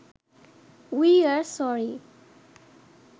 we are sorry